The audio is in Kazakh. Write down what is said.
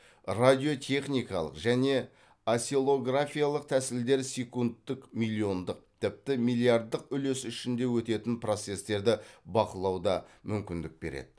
радиотехникалық және осциллографиялық тәсілдер секундтік миллиондық тіпті миллиардтық үлесі ішінде өтетін процестерді бақылауда мүмкіндік береді